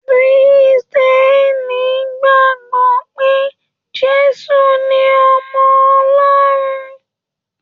Kírísítẹ́nì gbagbọ pe Jésù ní ọmọ Ọlọrun.